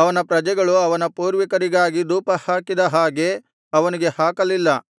ಅವನ ಪ್ರಜೆಗಳು ಅವನ ಪೂರ್ವಿಕರಿಗಾಗಿ ಧೂಪಹಾಕಿದ ಹಾಗೆ ಅವನಿಗೆ ಹಾಕಲಿಲ್ಲ